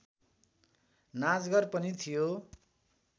नाचघर पनि थियो